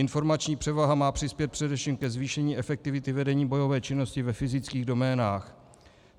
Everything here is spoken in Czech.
Informační převaha má přispět především ke zvýšení efektivity vedení bojové činnosti ve fyzických doménách.